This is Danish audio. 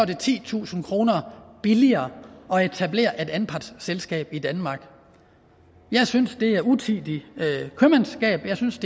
det titusind kroner billigere at etablere et anpartsselskab i danmark jeg synes at det er utidigt købmandskab jeg synes